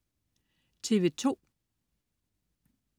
TV2: